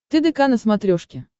тдк на смотрешке